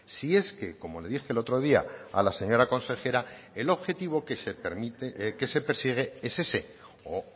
si es que como le dije el otro día a la señora consejera el objetivo que se persigue es ese o